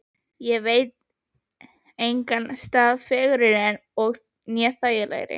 Ég veit engan stað fegurri né þægilegri.